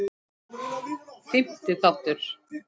Fimmti þáttur